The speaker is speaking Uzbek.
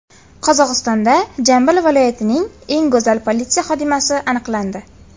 Qozog‘istonda Jambil viloyatining eng go‘zal politsiya xodimasi aniqlandi .